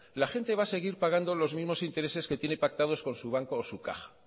la gente va a seguir pagando los mismos intereses que tiene pactado con su banco o su caja